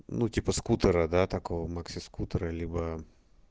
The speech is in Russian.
ну типа скутера до такого максискутера либо